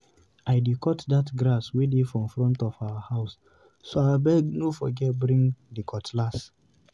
I dey cut dat grass wey dey for front of our house, so abeg no forget bring di cutlass.